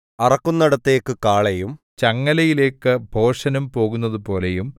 അറക്കുന്നേടത്തേക്ക് കാളയും ചങ്ങലയിലേക്ക് ഭോഷനും പോകുന്നതുപോലെയും